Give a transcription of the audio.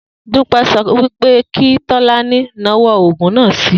Dúpé̩ so̩ wí pé kí Tó̩lání nawó̩ ògùn náà si